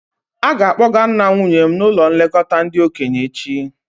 A ga-akpọga nna nwunye m n'ụlọ nlekọta ndị okenye echi